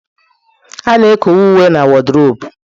A na-ekowe uwe na wodrobu.